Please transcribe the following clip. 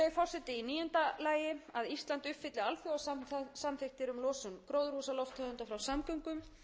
sem tengjast orkuskiptum verði aukið síðan virðulegi forseti í níunda lagi að ísland uppfylli alþjóðasamþykktir um losun gróðurhúsalofttegunda frá samgöngum